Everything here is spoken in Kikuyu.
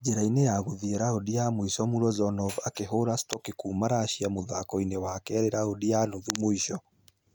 Njĩra-inĩ ya gũthie raundi ya mũisho mullozhonov akĩhũra stocky kuuma russia mũthako-inĩ wa kerĩ raundi ya nuthu mũisho.